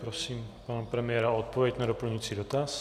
Prosím pana premiéra o odpověď na doplňující dotaz.